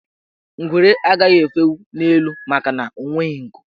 Ngwere agaghị efenwu n' elu makana o nweghi nku.